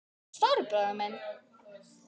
Stóri bróðir minn.